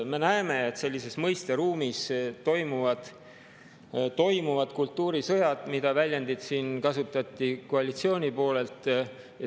Me näeme, et sellises mõisteruumis toimuvad kultuurisõjad – kasutan seda väljendit, mida siin kasutati koalitsiooni poolel.